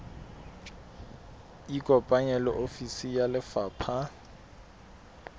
ikopanye le ofisi ya lefapha